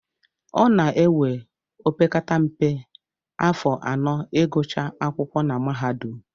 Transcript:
Ọ na-ewe opekata mpe, afọ anọ ịgụcha akwụkwọ na mahadum